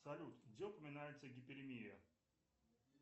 салют где упоминается гиперемия